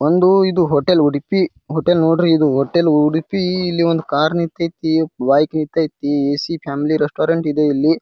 ಒಂದು ಇದು hotel Udupi hotel ನೋಡ್ರಿ ಇದು. ಹೋಟೆಲ್ ಉಡುಪಿ ಇಲ್ಲಿ ಒಂದು ಕಾರ್ ನಿಂತತೈತಿ ಬೈಕ್ ನಿಂತತೈತಿ ಎ.ಸಿ. ಫ್ಯಾಮಿಲಿ ರೆಸ್ಟೋರೆಂಟ್ ಇದೆ ಇಲ್ಲಿ.